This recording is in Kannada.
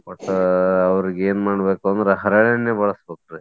ಒಟ್ಟ ಅವ್ರಿಗೆ ಏನ್ ಮಾಡ್ಬೇಕಂದ್ರ ಹರಳೆಣ್ಣೆ ಬಳಸಬೇಕ್ರೀ.